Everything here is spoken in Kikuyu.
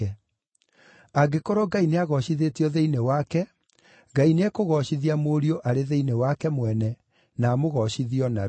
Angĩkorwo Ngai nĩagoocithĩtio thĩinĩ wake, Ngai nĩekũgoocithia Mũriũ arĩ thĩinĩ wake mwene, na amũgoocithie o narua.